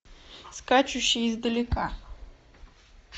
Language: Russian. скачущие издалека